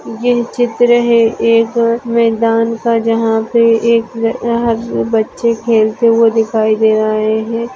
ये चित्र है। एक मैदान का जहा पे एक वहा बच्चे खेलते हुए दिखाई दे रहा है।